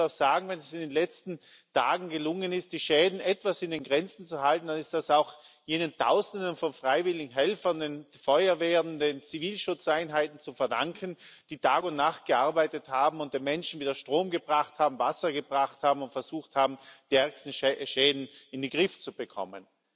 Man muss auch sagen Wenn es in den letzten Tagen gelungen ist, die Schäden etwas in Grenzen zu halten, dann ist das auch jenen Tausenden von freiwilligen Helfern den Feuerwehren, den Zivilschutzeinheiten zu verdanken, die Tag und Nacht gearbeitet haben und den Menschen wieder Strom und Wasser gebracht haben und versucht haben, die ärgsten Schäden in den Griff zu bekommen.